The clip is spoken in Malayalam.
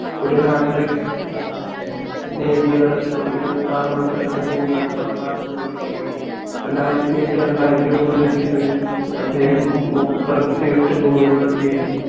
ഒരു hat trick നേടിയതടക്കം ഇരുവത്തിആറ് മത്സരങ്ങളിൽ നന്നായി പതിനാല് goal കൾ നേടി രണ്ടായിരത്തി എട്ട് രണ്ടായിരത്തി ഒമ്പതിൽ season ഇൽ അദ്ദേഹം മുപ്പത്തി എട്ട് goal കൾ നേടി